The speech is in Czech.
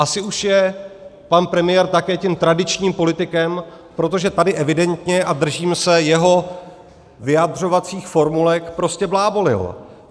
Asi už je pan premiér také tím tradičním politikem, protože tady evidentně - a držím se jeho vyjadřovacích formulek - prostě blábolil.